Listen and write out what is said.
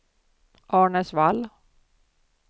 Arnäsvall